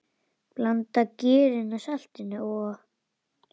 Blandið gerinu, saltinu og?